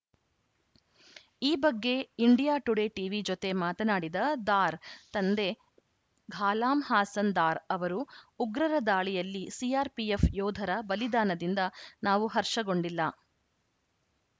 ಈ ಬಗ್ಗೆ India Today TV ಜೊತೆ ಮಾತನಾಡಿದ ದಾರ್‌ ತಂದೆ ಘಾಲಾಂ ಹಾಸನ್‌ ದಾರ್‌ ಅವರು ಉಗ್ರರ ದಾಳಿಯಲ್ಲಿ ಸಿಆರ್‌ಪಿಎಫ್‌ ಯೋಧರ ಬಲಿದಾನದಿಂದ ನಾವು ಹರ್ಷಗೊಂಡಿಲ್ಲ